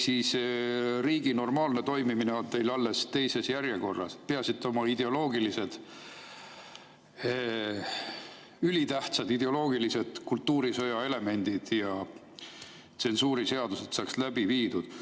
Riigi normaalne toimimine on teil alles teises järjekorras, peaasi et te oma ülitähtsad ideoloogilised kultuurisõja elemendid ja tsensuuriseadused saaks läbi viidud.